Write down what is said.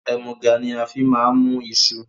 Ẹmuga ni a fi máa mú iṣu